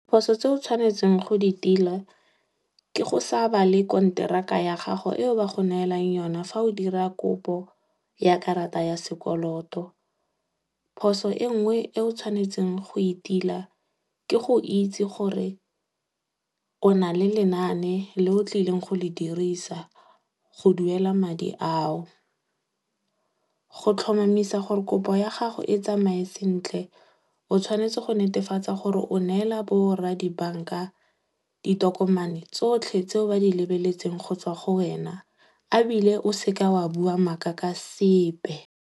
Phoso tse o tshwanetseng go di tila, ke go sa bale konteraka ya gago eo ba go neelang yona fa o dira kopo ya karata ya sekoloto. Phoso e nngwe e o tshwanetseng go itila, ke go itse gore o nale lenaane le o tlileng go le dirisa go duela madi ao. Go tlhomamisa gore kopo ya gago e tsamaye sentle, o tshwanetse go netefatsa gore o neela bo rra di-bank-a ditokomane tsotlhe tseo ba di lebeletseng go tswa go wena. Ebile o seka wa bua maaka ka sepe.